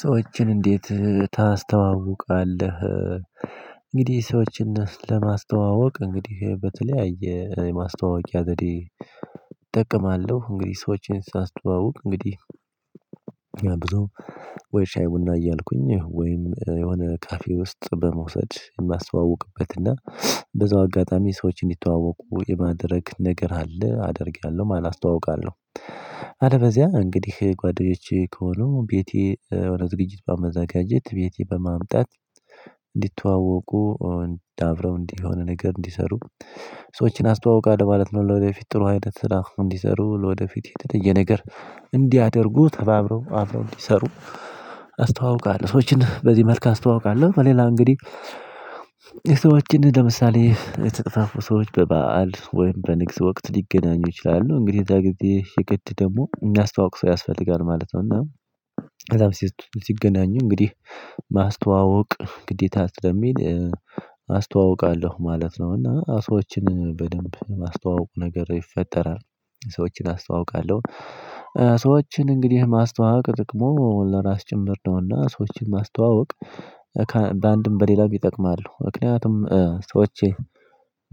ሰዎችን እንዴት ታስተዋውቃለህ? እንግዲህ ሰዎችን ለማስተዋወቅ እንግዲህ በተለያየ የማስተዋወቂያ ዘዴ እጠቀማለሁ እንግዲህ ሰዎችን ሳስተዋውቅ እንግዲህ። ብዙ ወይ ሻይ ቡና እያልኩኝ ወይም የሆነ ካፌ ውስጥ በመውሰድ የማስተዋውቅበት እና በዛው አጋጣሚ ሰዎችን እንዲተዋወቁ የማድረግ ነገር አለ አደርጋለሁ። ማን አስተዋውቃለሁ። አለበዚያ እንግዲህ ጓደኞቼ ከሆኑ ቤቴ ወደ ዝግጅት በማዘጋጀት ቤቴ በማምጣት እንዲተዋወቁ እንዲታረው እንዲሆን ነገር እንዲሰሩ ሰዎችን አስተዋውቃለሁ ማለት ነው። ለወደፊት ጥሩ አይነት ስራ እንዲሰሩ ለወደፊት የተለየ ነገር እንዲያደርጉ ተባብረው አብረው እንዲሰሩ አስተዋውቃለሁ። ሰዎችን በዚህ መልኩ አስተዋውቃለሁ። ሌላ እንግዲህ የሰዎችን ለምሳሌ የተጠፋፉ ሰዎች በበዓል ወይም በንግስ ወቅት ሊገናኙ ይችላሉ እንግዲህ እዛ ጊዜ የግድ ደግሞ የሚያስተዋውቅ ሰው ያስፈልጋል ማለት ነው። እና እዛም ሲገናኙ እንግዲህ ማስተዋወቅ ግዴታ ስለሚል አስተዋውቃለሁ ማለት ነው። እና ሰዎችን በደንብ ማስተዋወቁ ነገር ይፈጠራል ሰዎችን አስተዋውቃለሁ። ሰዎችን እንግዲህ ማስተዋወቅ ጥቅሙ ለራስ ጭምር ነውና ሰዎችን ማስተዋወቅ በአንድም በሌላም ይጠቅማሉ ምክንያቱም ሰዎች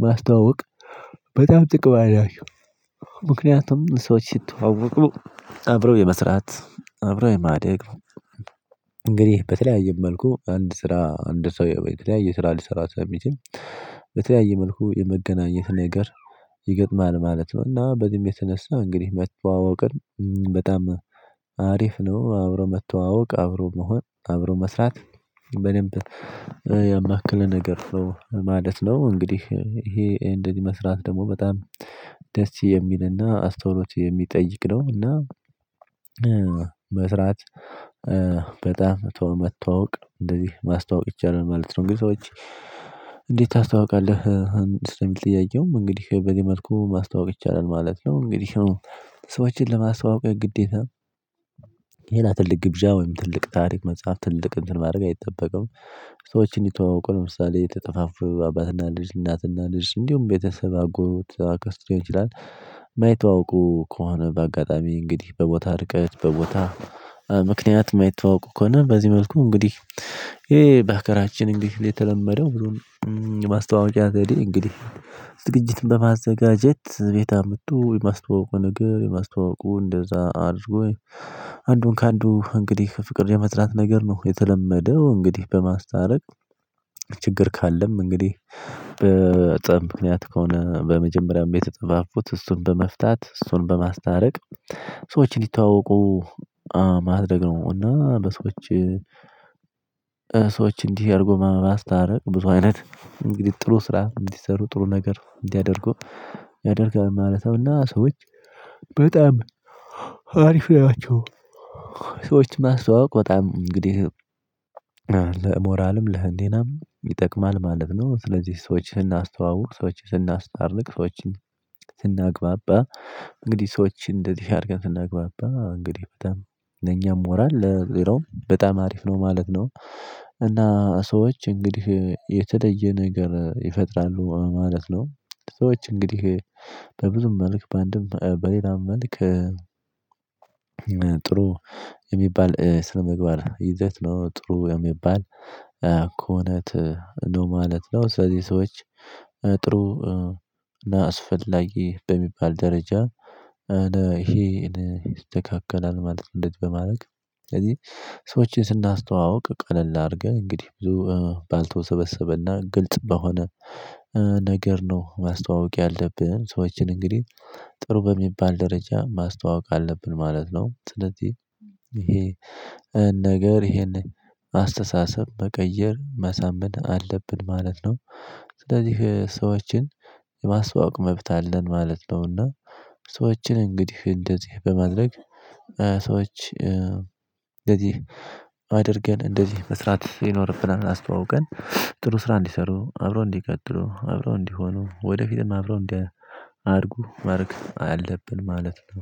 ማስተዋወቅ በጣም ጥቅም አላቸው። ሰዎች ሲተዋወቁ አብረው የመስራት አብረው የማደግ። እንግዲህ በተለያየ መልኩ አንድ ስራ አንድ ሰው የተለያየ ስራ ሊሰራ ሳይችል በተለያየ መልኩ የመገናኘት ነገር ይገጥማል ማለት ነው። እና በዚህም የተነሳ እንግዲህ መተዋወቅን በጣም አሪፍ ነው። አብሮ መተዋወቅ አብሮ መሆን አብሮ መስራት በደንብ ያማከለ ነገር ነው ማለት ነው። እንግዲህ ይሄ እንደዚህ መስራት ደግሞ በጣም ደስ የሚልና አስተውሎት የሚጠይቅ ነው። እና መስራት በጣም ቶሎ መተዋወቅ እንደዚህ ማስተዋወቅ ይቻላል ማለት ነው። እንግዲህ ሰዎች እንዴት ታስተዋውቃለህ? ስለሚል ጥያቄው እንግዲህ በዚህ መልኩ ማስታወቅ ይቻላል ማለት ነው። እንግዲህ ሰዎችን ለማስታወቀው ግዴታ ሌላ ትልቅ ግብዣ ወይም ትልቅ ታሪክ መጽሐፍ፥ ትልቅ እንትን ማድረግ አይጠበቅም። ሰዎች እንዲተዋወቁ ለምሳሌ የተጠፋፉ አባትና ልጅ እናትና ልጅ እንዲሁም ቤተሰብ አጎት አክስቶ ሊሆን ይችላል። ማይተዋወቁ ከሆነ በአጋጣሚ እንግዲህ በቦታ እርቀት በቦታ ምክንያት ማይተዋወቁ ከሆነ በዚህ መልኩ እንግዲህ ይሄ በሀገራችን እንግዲህ ላይ የተለመደው ብዙም የማስተዋወቂያ ዘዴ እንግዲህ ዝግጅትን በማዘጋጀት ቤት አምጡ የማስተዋወቁ ነገር የማስተዋወቁ እንደዛ አድርጎ አንዱን ከአንዱ እንግዲህ ፍቅር የመዝራት ነገር ነው የተለመደው እንግዲህ በማስተረቅ። ችግር ካለም እንግዲህ በጸብ ምክንያት ከሆነ በመጀመሪያም የተጠፋፉት እሱን በመፍታት እሱን በማስታረቅ ሰዎች እንዲታወቁ ማድረግ ነው። እና በሰዎች ሰዎች እንዲህ አድርጎ በማስታረቅ ብዙ አይነት እንግዲህ ጥሩ ስራ እንዲሰሩ ጥሩ ነገር እንዲያደርጉ ያደርጋል ማለት ነው። እና ሰዎች በጣም አሪፍ ናቸው። ሰዎችን ማስተዋወቅ በጣም እንግዲህ ለሞራልም ለህሊናም ይጠቅማል ማለት ነው። ስለዚህ ሰዎችን ስናስተዋውቅ ሰዎችን ስናስታርቅ ሰዎችን ስናግባባ እንግዲህ ሰዎች እንደዚህ አድርገን ስናግባባ እንግዲህ በጣም ለኛም ሞራል ለሌላም በጣም አሪፍ ነው ማለት ነው። እና ሰዎች እንግዲህ የተለየ ነገር ይፈጥራሉ ማለት ነው። ሰዎች እንግዲህ በብዙ መልክ በአንድም በሌላም መልክ ጥሩ የሚባል ስነምግባር ይዘት ነው ጥሩ የሚባል ኮነት ነው ማለት ነው። ስለዚህ ሰዎች ጥሩ አስፈላጊ በሚባል ደረጃ ይሄን ይስተካከላል ማለት እንደዚህ በማድረግ ስለዚህ ሰዎችን ስናስተዋውቅ ቀለል አድርገህ እንግዲህ ብዙ ባልተወሰበሰበና ግልጽ በሆነ ነገር ነው ማስተዋወቅ ያለብን ሰዎችን እንግዲህ ጥሩ በሚባል ደረጃ ማስተዋወቅ አለብን ማለት ነው። ስለዚህ ይሄ ነገር ይሄንን አስተሳሰብ መቀየር ማሳመን አለብን ማለት ነው። ስለዚህ ሰዎችን የማስተዋወቅ መብት አለን ማለት ነውና። ሰዎችን እንግዲህ እንደዚህ በማድረግ ሰዎች እንደዚህ አድርገን እንደዚህ መስራት ይኖርብናል አስተዋውቀን ጥሩ ስራ እንዲሰሩ አብረው እንዲቀጥሉ አብረው እንዲሆኑ ወደፊትም አብረው እንዲያድጉ ማረግ አለብን ማለት ነው